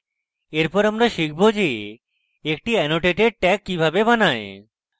এরপর শিখব যে একটি annotated tag কিভাবে বানায়